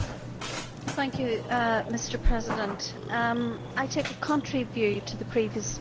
Mr President, I take a contrary view to the previous speaker on this particular report.